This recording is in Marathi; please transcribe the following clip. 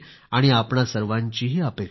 आपणा सर्वांची ही इच्छा आहे